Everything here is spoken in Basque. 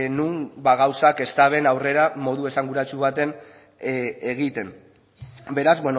non gauzak ez daben aurrera modu esanguratsu baten egiten beraz